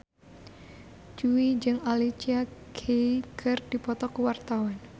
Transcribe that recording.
Jui jeung Alicia Keys keur dipoto ku wartawan